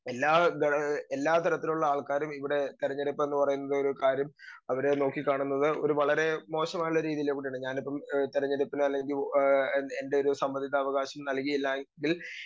speaker 2 എല്ലാ ഇത് എല്ലാ തരത്തിലുള്ള ആൾക്കാരും ഇവിടെ തെരഞ്ഞെടുപ്പെന്ന് പറയുന്നത് ഒരു കാര്യം അവരെ നോക്കി കാണുന്നത് വളരെ മോശമായ രീതിയിൽ കൊണ്ടാണ് ഞാനിപ്പോ അല്ലെങ്കി ആഹ് എൻറെയൊരു സമ്മതിതാ അവകാശം നൽകി ഇല്ലായെങ്കിൽ